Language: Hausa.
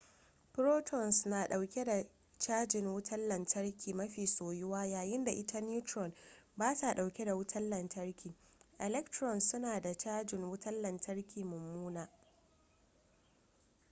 protons na dauke da cajin wutan lantarki mafi soyuwa yayin da ita neutron bata dauke da wutan lantarki electrons suna da cajin wutan lantarki mummuna